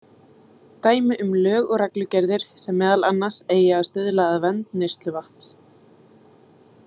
Dæmi um lög og reglugerðir sem meðal annars eiga að stuðla að vernd neysluvatnsins.